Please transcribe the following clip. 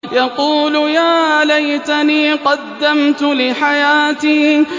يَقُولُ يَا لَيْتَنِي قَدَّمْتُ لِحَيَاتِي